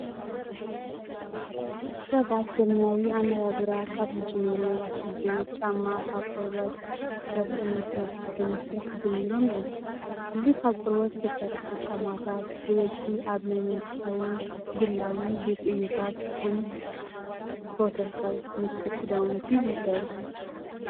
ሰባት ዘበናዊ ኣነባብራ ካብ ዝጅምሩ ኣትሒዙ ጫማ ካብ ቆርበት፣ ጨርቅን ፕላስቲክን ምስራሕ ጀሚሮም እዮም። እዚ ካብ ቆርበት ዝተሰርሓ ጫማታት ብበዝሒ ኣብ ናይ መንግስታዊን ግላዊ ቤት ዕዮታት ከም ፕሮቶከር ምስ ሱፍ ክዳውንቲ ይዝውተሩ።